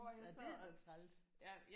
Ej det er også træls